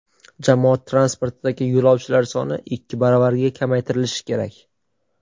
Jamoat transportidagi yo‘lovchilar soni ikki baravarga kamaytirilishi kerak.